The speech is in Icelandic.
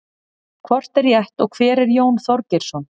hvort er rétt og hver er jón þorgeirsson